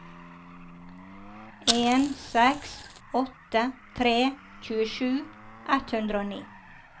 en seks åtte tre tjuesju ett hundre og ni